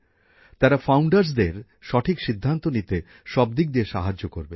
তারা নতুন শিল্পোদ্যোগীদের সঠিক সিদ্ধান্ত নিতে সব দিক দিয়ে সাহায্য করবেন